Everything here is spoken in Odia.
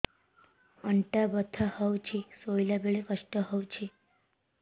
ଅଣ୍ଟା ବଥା ହଉଛି ଶୋଇଲା ବେଳେ କଷ୍ଟ ହଉଛି